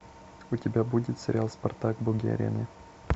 у тебя будет сериал спартак боги арены